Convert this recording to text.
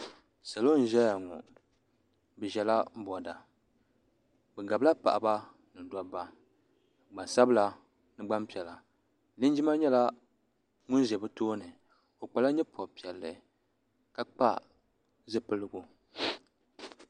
Salo n zɛya ŋɔ bi zɛla bɔda bi gabi la paɣaba ni dabba gbaŋ sabila ni gbaŋ piɛlla linjima nyɛla ŋuni zɛ bi tooni o kpala yee pɔbirigu piɛlli ka kpa zupiligu.